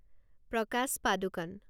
প্ৰকাশ পাদুকণে